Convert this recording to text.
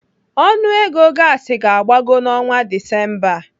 Ọnụego gaasi ga-agbago n'ọnwa Disemba a.